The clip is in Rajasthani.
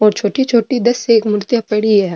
और छोटी छोटी दस एक मूर्तियां पड़ी है।